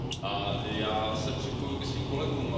I já se připojuji ke svým kolegům.